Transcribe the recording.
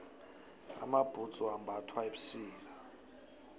amabhudzu ambathwa ebusika